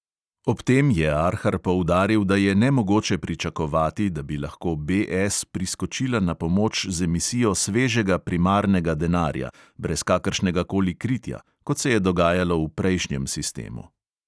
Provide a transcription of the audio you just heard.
Ob tem je arhar poudaril, da je nemogoče pričakovati, da bi lahko BS priskočila na pomoč z emisijo svežega primarnega denarja brez kakršnega koli kritja, kot se je dogajalo v prejšnjem sistemu.